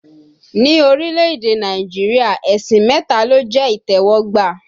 Ni orílẹ̀èdè Nàìjíríà, ẹ̀sìn mẹta ló jẹ́ ìtẹ́wọ́gbà